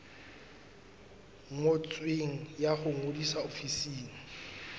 ngotsweng ya ho ngodisa ofising